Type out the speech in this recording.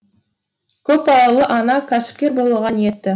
көпбалалы ана кәсіпкер болуға ниетті